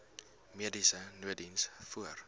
mediese nooddiens voor